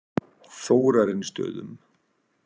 Þórarinsstöðum